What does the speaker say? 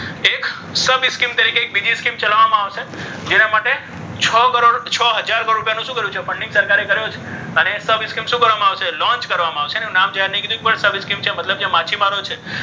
sub scheme તરીકે એક બીજી scheme ચલાવવામાં આવશે. જેના માટે છ કરોડ છ હજાર કરોડ રૂપિયાનું શું કર્યું છે? ફંડિંગ સરકારે કર્યું છે. અને sub scheme શું કરવામાં આવશે? launch કરવામાં આવશે. એનું નામ જાહેર નથી કર્યું. પણ sub scheme છે મતલબ જે માછીમારો છે.